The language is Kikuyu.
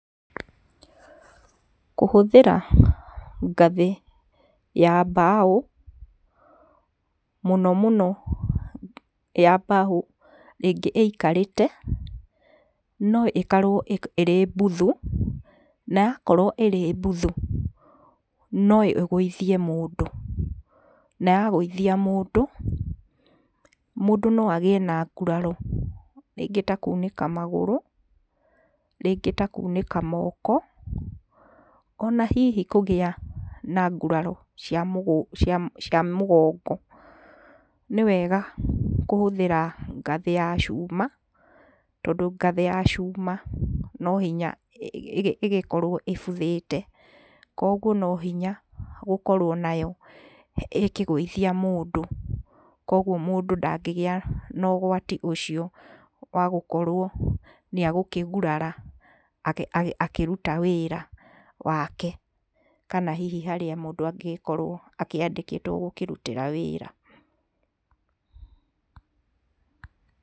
Kũhũthĩra ngathĩ ya mbaũ mũno mũno ya mbaũ rĩngĩ ĩikarĩte no ĩkorwo ĩrĩ mbuthu, na yakorwo ĩrĩ mbuthu, no ĩgũithie mũndũ ,na yagũithia mũndũ, mũndũ no agĩe na nguraro rĩngĩ ta kunĩka magũrũ, rĩngĩ ta kunĩka moko, ona hihi kũgĩa na nguraro cia cia mũgongo. Nĩwega kũhũthĩra ngathĩ ya cuma, tondũ ngathĩ ya cuma no hinya ĩgĩkorwo ĩbuthĩte, kwoguo no hinya gũkorwo nayo ĩkĩgũithia mũndũ, kwoguo mũndũ ndangĩgĩa na ũgwati ũcio wa gũkorwo nĩakũgurara akĩruta wĩra wake kana hihi harĩa mũndũ angĩgĩkorwo akĩandĩkĩtwo gĩkĩruta wĩra.